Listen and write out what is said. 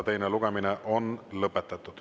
Teine lugemine on lõpetatud.